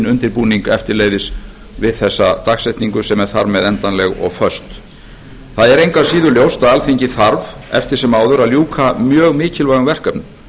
undirbúning eftirleiðis við þessa dagsetningu sem er þar með endanleg og föst það er engu að síður ljós að alþingi þarf eftir sem áður að ljúka mjög mikilvægum verkefnum